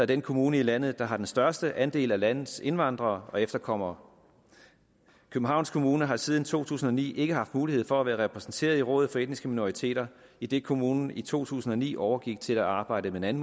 den kommune i landet der har den største andel af landets indvandrere og efterkommere københavns kommune har siden to tusind og ni ikke haft mulighed for at være repræsenteret i rådet for etniske minoriteter idet kommunen i to tusind og ni overgik til at arbejde med en